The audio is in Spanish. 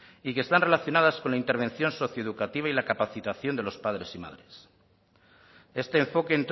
y que están relacionadas con la intervención socioeducativa y la capacitación de los padres y madrea este enfoque